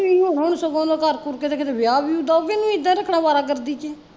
ਤੁਸੀਂ ਹੁਣ ਸਗੋਂ ਉਹਦਾ ਕਰ ਕੁਰ ਕੇ ਤੇ ਕਿਤੇ ਵਿਆਹ ਵਿਉਹ ਦਉ ਕਿ ਨਹੀਂ ਏਦਾਂ ਈ ਰੱਖਣਾ ਅਵਾਰਾਗਰਦੀ ਚ ਈ